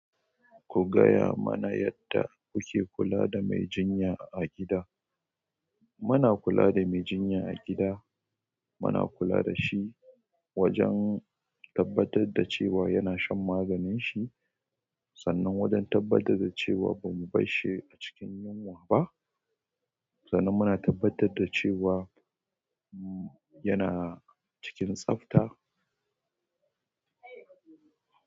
Ku gaya mana yadda kuke kula da mai jinya a gida. Mu a kula da mai jinya a gida. Muna kula da shi, wajen tabbatar da cewa yana shan maganin shi, sannan wajen tabbatar da cewa ba mu bar shi a cikin yunwa ba, sannan muna tabbatar da cewa mmm yana cikin tsafta.